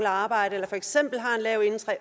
arbejde lav